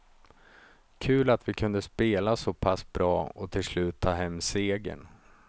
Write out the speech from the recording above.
Kul att vi kunde spela så pass bra och till slut ta hem segern.